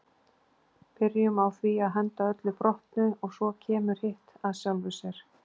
Byrjum á því að henda öllu brotnu og svo kemur hitt af sjálfu sér